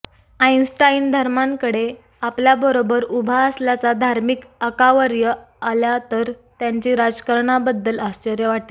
Einstein धर्मांकडे आपल्याबरोबर उभा असल्याचा धार्मिक आकावर्य आल्या तर त्यांची राजकारणाबद्दल आश्चर्य वाटेल